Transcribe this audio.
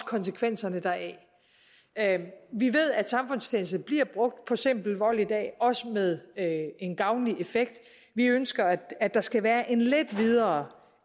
konsekvenserne deraf vi ved at samfundstjeneste bliver brugt ved simpel vold i dag og også med en gavnlig effekt vi ønsker at der skal være lidt videre